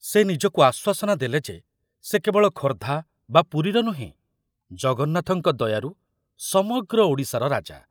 ସେ ନିଜକୁ ଆଶ୍ୱାସନା ଦେଲେ ଯେ ସେ କେବଳ ଖୋର୍ଦ୍ଧା ବା ପୁରୀର ନୁହେଁ, ଜଗନ୍ନାଥଙ୍କ ଦୟାରୁ, ସମଗ୍ର ଓଡ଼ିଶାର ରାଜା।